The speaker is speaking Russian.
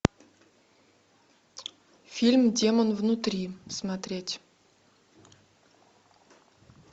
фильм демон внутри смотреть